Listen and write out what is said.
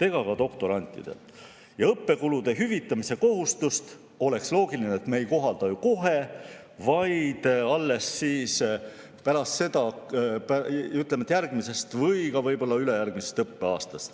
Oleks loogiline, et õppekulude hüvitamise kohustust me ei kohalda kohe, vaid alles järgmisest või võib‑olla ülejärgmisest õppeaastast.